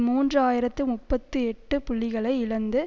மூன்று ஆயிரத்தி முப்பத்தி எட்டு புள்ளிகளை இழந்து